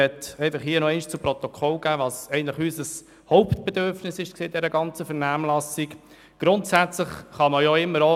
Ich will hier zur Protokoll geben, was eigentlich in der ganzen Vernehmlassung unser Hauptanliegen gewesen ist.